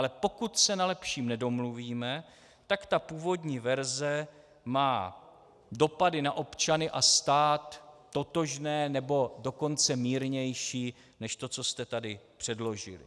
Ale pokud se na lepším nedomluvíme, tak ta původní verze má dopady na občany a stát totožné, nebo dokonce mírnější než to, co jste tady předložili.